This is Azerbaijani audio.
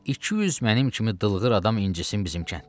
200 mənim kimi dılqır adam incisin bizim kənddən.